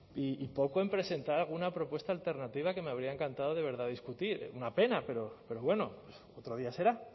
y poco en presentar alguna propuesta alternativa que me habría encantado de verdad discutir una pena pero bueno otro día será